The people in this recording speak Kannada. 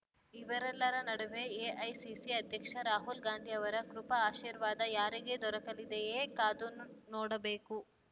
ಇವರೆಲ್ಲರ ನಡುವೆ ಎಐಸಿಸಿ ಅಧ್ಯಕ್ಷ ರಾಹುಲ್ ಗಾಂಧಿಯವರ ಕೃಪಾಶೀರ್ವಾದ ಯಾರಿಗೆ ದೊರಕಲಿದೆಯೇ ಕಾದುನೋಡಬೇಕು